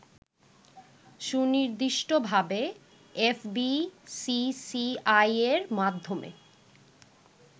সুনির্দিষ্টভাবে এফবিসিসিআইয়ের মাধ্যমে